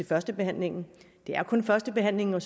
førstebehandlingen det er kun førstebehandlingen og